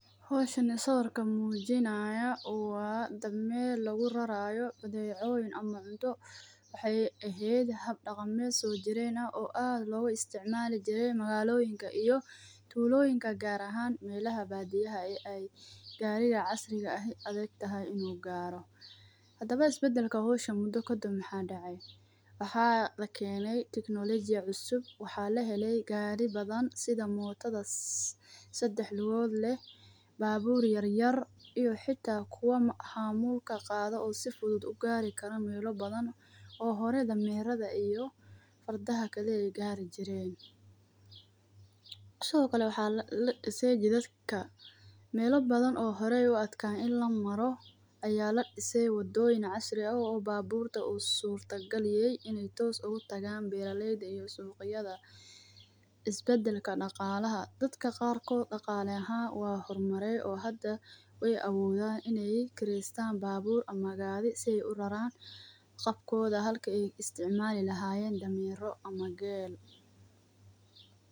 Hawshani sawirka mujinaya waa dameer lagurarayo badecoyin ama cunto wexey ehed hab daqamees soojiren ah oo aad loga isticmali jire magaloyinka iyo tuloyinka gar ahan melaha badiyaha ey gariga casriga ah ey adag tahay inu garo hadabo isbadalka howshan mudo kadhib maxa decay waxa lakeene teknolojia cusub waxa laheley gari badan sida motada sadax lugood leh babur yar yar iyo xita kuwo hamulka qado oo si fudud uu gari karo meelo badan oo hore damerada iyo fardaha kali ee gari jiren sidho kale waxa dadka meelo badan oo horey uu adkayen In lamaro aya ladisay wadoyin casri ah oo baburta oo sorta galiyey inu toos utagan beraleyda iyo suqyada isbadalka daqalaha dadka qarkod daqala ahan waa hormaray oo hadaa wey awodan iney kirestan babur ama gari sii ey uraran qabkoda halka ey isticmaali lahayen damero ama gel.